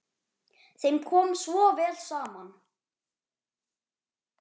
Þeim kom svo vel saman.